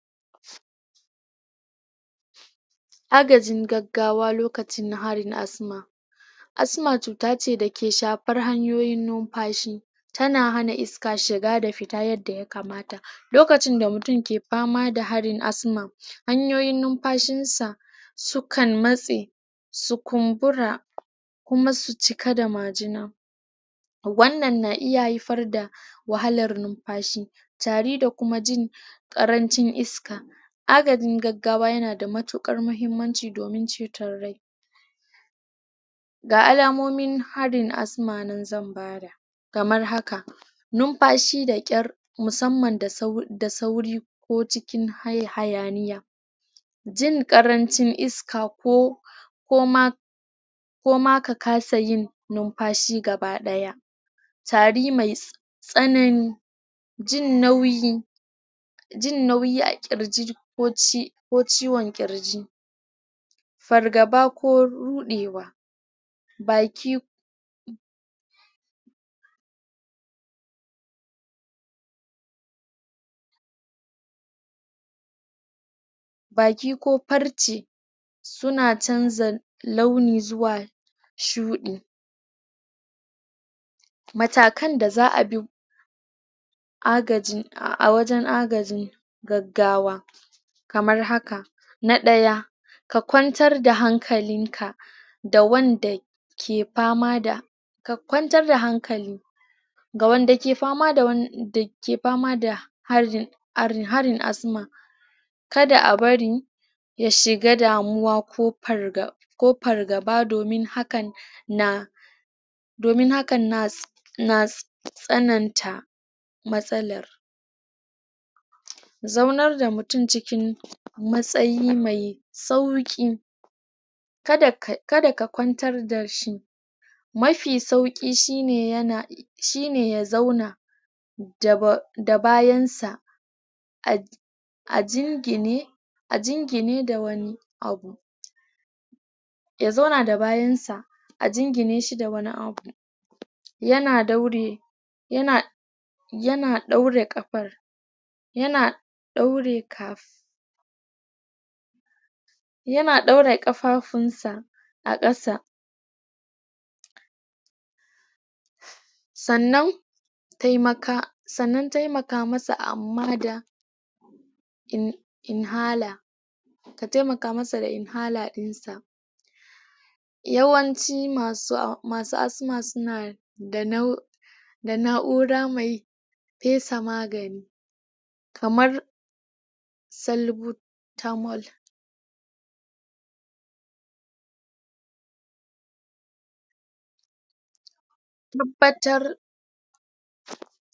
agajin gaggawa lokacin na fari na asma asma cuta ce da ke shafar hanyoyin numfashi tana hana iska shiga da fita yadda ya kamata lokacin da mutum ke fama da harin asma hanyoyin numfashin sa su kan matse su kumbura kuma su cika da majina wannan na iya haifar da wahalar numfashi tari da kuma jin karacin iska agajin gaggawa yana da matukar mahimmanci domin ceton rai ga alamomin harin asma nan zan bada kamar haka numfashi da kyar musamman da sauri ko cikin hayaniya jin karancin iska ko ko ma koma ka kasa yin numfashi gaba daya tari mai tsanani jin nauyi jin nauyi a kirji ko ci ko ciwon kirji fargaba ko rudewa baki ko baki ko farci suna chanxa launi xuwa shudi matakan da zaa bi agaji a wajen agajin gaggawa kamar haka na daya ka kwantar da hankalinka da wanda ke fama da ka kwantar da hankali ga wand ake fama da wani ke fama da farji harin asma kada a bari ya shiga damuwa ko farga ko fargaba domin hakan na domin hakan na na tsananta matsala zaunar da mutum cikin matsayi mai sauki kada ka kwantar dashi mafi suaki shine yana shine ya zauna da bayan sa a um a jingine a jingine da wani abu ya zauna da bayansa a jingineshi da wani abu yana daure yana yana daure kafar yana daure kaf yana dauraye kafafunsa a kasa sannnan taimaka sannan taimaka masa amma da in inhaler ka taimaka masa da inhaler dinsa yawanci masu asma suna da nau da na'ura mai mai fesa magani??? salbo tamal tabbatar???